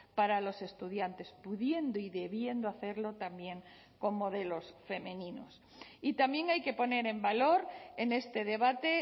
para los estudiantes pudiendo y debiendo hacerlo también con modelos femeninos y también hay que poner en valor en este debate